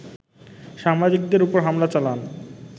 সাংবাদিকদের উপর হামলা চালান